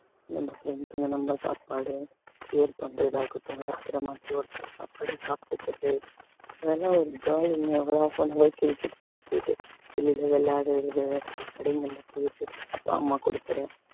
நம்ம friends க்கு இந்த நம்ம சாப்பாடு share பண்றது ஆகட்டும் ஒருத்தர மாத்தி ஒருத்தர் சாப்பாடு சாப்பிட்டுக்கிறது அதெல்லாம் ஒரு jolly cricket குள்ள போயிட்டு வெளியில விளையாடுறது கடைங்கள்ல போயிட்டு அப்பா அம்மா கொடுக்கிற